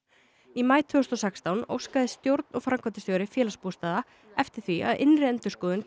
í maí tvö þúsund og sextán óskaði stjórn og framkvæmdastjóri Félagsbústaða eftir því að innri endurskoðun